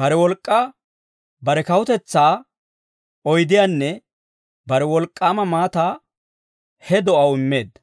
bare wolk'k'aa, bare kawutetsaa oydiyaanne bare wolk'k'aama maataa he do'aw immeedda.